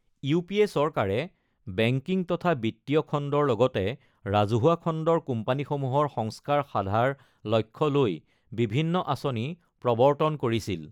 UPA. চৰকাৰে banking তথা বিত্তীয় খণ্ডৰ লগতে ৰাজহুৱা খণ্ডৰ কোম্পানীসমূহৰ সংস্কাৰ সাধাৰ লক্ষ্য লৈ বিভিন্ন আচনি প্ৰৱৰ্তন কৰিছিল।